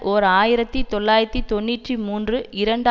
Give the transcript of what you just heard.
ஓர் ஆயிரத்தி தொள்ளாயிரத்தி தொன்னூற்றி மூன்று இரண்டு